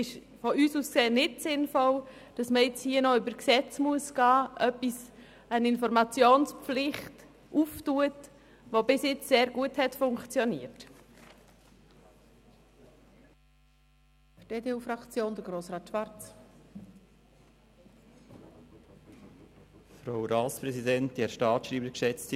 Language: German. Aus unserer Sicht ist es nicht sinnvoll, hier noch via Gesetz eine Informationspflicht zu schaffen, wenn es doch bisher sehr gut funktioniert hat.